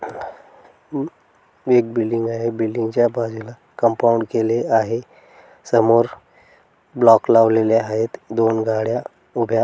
म एक बिल्डिंग आहे बिल्डिंग च्या बाजूला कंपाऊंड केले आहे समोर ब्लॉक लावलेले आहेत दोन गाड्या उभ्या--